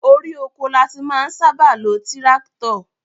Orí oko la ti máa ń sábà lo tíráktọ̀